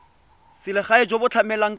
selegae jo bo tlamelang ka